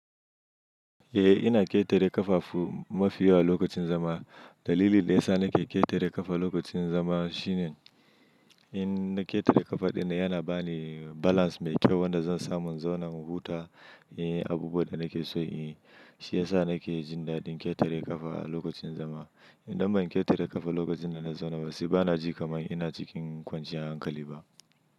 Eh ina ƙetare ƙafafu mafi yawa lokacin zama. Dalilin da ya sa nake ƙetare ƙafa lokacin zama shine, in na ƙetare ƙafa ɗaya yana ba ni balance mai kyau wanda zan samun zauna in huta. Eh abubuwan da nake so in yi, shiyasa nake jin daddin ketere kafa a lokacin zama. Indan ban ketere kafa lokacin da na zauna ba, sai ba na ji kaman ina cikin kwanciyan hankali ba.